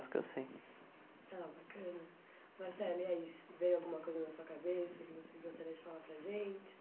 eu sei. Ah, bacana. Marcelo, é isso, veio alguma coisa na sua cabeça que você gostaria de falar para gente?